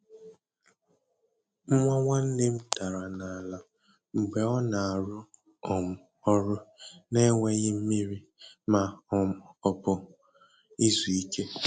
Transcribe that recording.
Nwa nwanne m dara n’ala mgbe ọ na-arụ um ọrụ n’enweghị mmiri ma um ọ bụ izu ike.